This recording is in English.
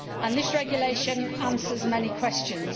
This regulation answers many questions.